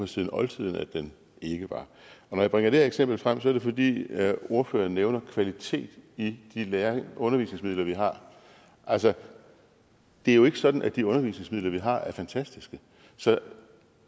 siden oldtiden at den ikke var når jeg bringer det her eksempel frem er det fordi ordføreren nævner kvalitet i de undervisningsmidler vi har altså det er jo ikke sådan at de undervisningsmidler vi har er fantastiske så